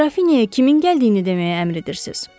Qrafinyaya kimin gəldiyini deməyə əmr edirsiz?